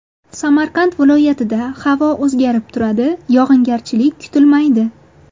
Samarqand viloyatida havo o‘zgarib turadi, yog‘ingarchilik kutilmaydi.